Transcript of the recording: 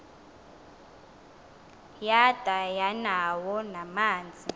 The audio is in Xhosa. yada yanawo namanzi